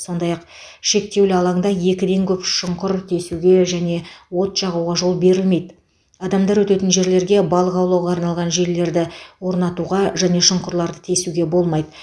сондай ақ шектеулі алаңда екіден көп шұңқыр тесуге және от жағуға жол берілмейді адамдар өтетін жерлерге балық аулауға арналған желілерді орнатуға және шұңқырларды тесуге болмайды